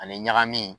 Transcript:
Ani ɲagamini